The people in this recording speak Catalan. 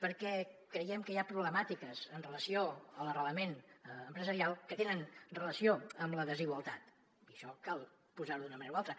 perquè creiem que hi ha problemàtiques amb relació a l’arrelament empresarial que tenen relació amb la desigualtat i això cal posar ho d’una manera o altra